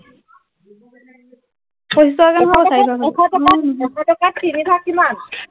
এশ টকাত এশ টকাত এশ টকাত তিনি ভাগ কিমান